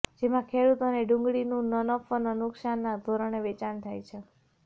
જેમાં ખેડુતોને ડુંગળીનું ન નફો ન નુકશાનનાં ધોરણે વેચાણ થાય છે